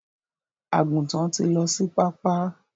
Àgùntàn tí lọ sí pápá.